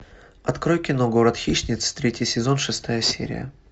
открой кино город хищниц третий сезон шестая серия